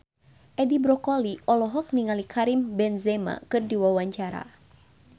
Edi Brokoli olohok ningali Karim Benzema keur diwawancara